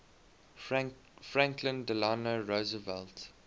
franklin delano roosevelt